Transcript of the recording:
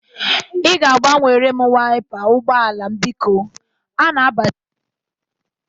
Ị ga-agbanwere m wiapa ụgbọala m bikọ. A na-abazikwa udummiri.